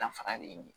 Dafara de ye